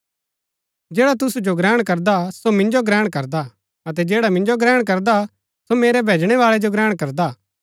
जैडा तुसु जो ग्रहण करदा सो मिन्जो ग्रहण करदा अतै जैडा मिन्जो ग्रहण करदा सो मेरै भैजणै बाळै जो ग्रहण करदा